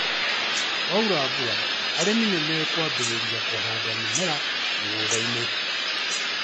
Kwaura mbura arĩmi nĩ mekwambĩrĩria kũhanda mĩmera mĩgũndainĩ